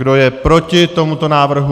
Kdo je proti tomuto návrhu?